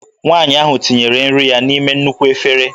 Nwanyị ahụ tinyere nri ya n'ime nnukwu efere